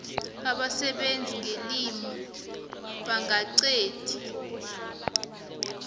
abasebenza ngelimi bangeqadi